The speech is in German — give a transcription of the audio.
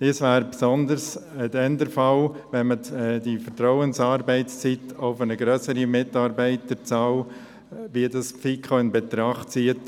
Das wäre insbesondere dann der Fall, wenn man die Vertrauensarbeitszeit auf eine grössere Mitarbeiterzahl ausweiten würde, wie es die FiKo in Betracht zieht.